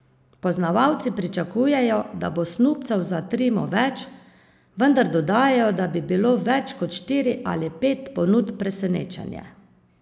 Poznavalci pričakujejo, da bo snubcev za Trimo več, vendar dodajajo, da bi bilo več kot štiri ali pet ponudb presenečenje.